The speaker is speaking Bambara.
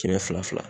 Kɛmɛ fila fila